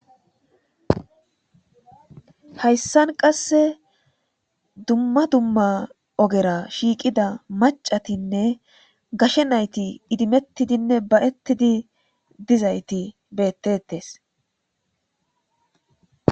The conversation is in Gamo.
Hayssan qase dumma dumma ogera shiiqida maccatinne gashe nayti idimetidinne ba'etti dizayti beetetes.